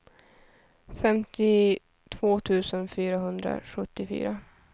femtiotvå tusen fyrahundrasjuttiofyra